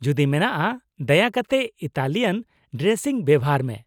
ᱡᱩᱫᱤ ᱢᱮᱱᱟᱜᱼᱟ, ᱫᱟᱭᱟ ᱠᱟᱛᱮ ᱤᱛᱟᱞᱤᱭᱟᱱ ᱰᱨᱮᱥᱤᱝ ᱵᱮᱵᱚᱦᱟᱨ ᱢᱮ ᱾